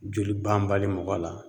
Joli banbali mɔgɔ la